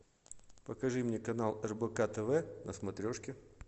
покажи мне канал рбк тв на смотрешке